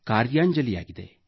ಕಾರ್ಯಾಂಜಲಿಯಾಗಿದೆ